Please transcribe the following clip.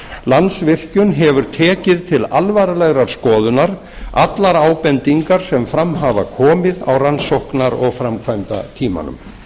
landsvirkjun hefur tekið til alvarlegrar skoðunar allar ábendingar sem fram hafa komið á rannsóknar og framkvæmdatímanum